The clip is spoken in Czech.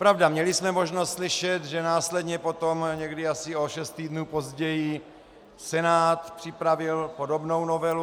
Pravda, měli jsme možnost slyšet, že následně potom, někdy asi o šest týdnů později, Senát připravil podobnou novelu.